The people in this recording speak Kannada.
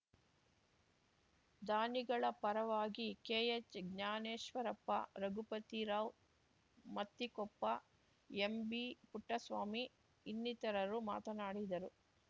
ದಾನಿಗಳ ಪರವಾಗಿ ಕೆಎಚ್‌ ಜ್ಞಾನೇಶ್ವರಪ್ಪ ರಘುಪತಿ ರಾವ್‌ ಮತ್ತಿಕೊಪ್ಪ ಎಂಬಿ ಪುಟ್ಟಸ್ವಾಮಿ ಇನ್ನಿತರರು ಮಾತನಾಡಿದರು